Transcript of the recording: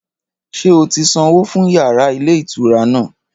Ṣé o ti sanwó fún yàrá ilé ìtura náà?